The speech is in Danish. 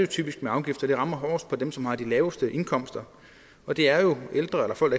typisk med afgifter de rammer hårdest på dem som har de laveste indkomster og det er jo ældre eller folk